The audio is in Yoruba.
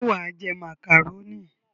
Ṣé wà á jẹ màkàrónì?